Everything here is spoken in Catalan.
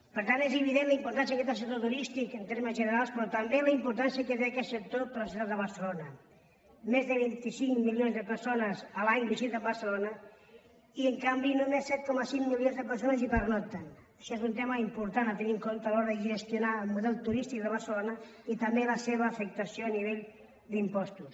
per tant és evident la importància que té el sector turístic en termes generals però també la importància que té aquest sector per a la ciutat de barcelona més de vint cinc milions de persones l’any visiten barcelona i en canvi només set coma cinc milions de persones hi pernocten això és un tema important a tenir en compte a l’hora de gestionar el model turístic de barcelona i també la seva afectació a nivell d’impostos